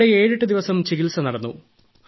അവിടെ 78 ദിവസം ചികിത്സ നടന്നു